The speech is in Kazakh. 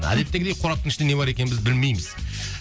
әдеттегідей қораптың ішінде не бар екенін біз білмейміз